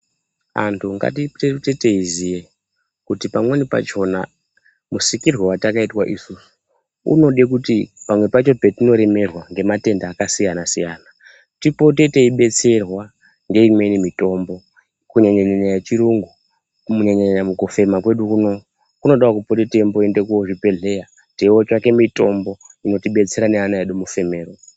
Antu nhatiite teiziya kuti pamweni pachona musikirwe watakaitwa isusu unode kuti pamwe pacho patinoremerwa ngematenda akasiyana siyana tipote teibetserwa ngeimweni mitombo kunyanya nyanya yechirungu kunyanya mukufema kwedu kuno kunodawo kupota teiende kuzvibhedhleya teinotsvake mitombo inotibetsera neana edu mufemero.